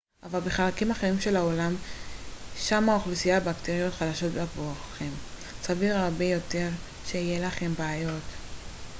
אבל בחלקים אחרים של העולם שם אוכלוסיית הבקטריות חדשה עבורכם סביר הרבה יותר שיהיו לכם בעיות